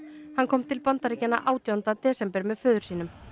hann kom til Bandaríkjanna átjánda desember með föður sínum